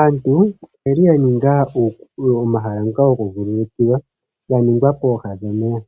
Aantu oyeli ya ninga omahala ngoka goku vululukilwa ga ningwa pooha dhomeya,